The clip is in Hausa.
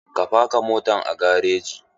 Ka faka motan a gareji!